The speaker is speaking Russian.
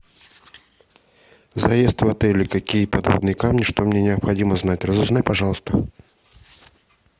заезд в отеле какие подводные камни что мне необходимо знать разузнай пожалуйста